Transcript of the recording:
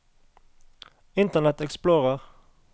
internet explorer